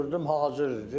Zəng vurdum hazırdır.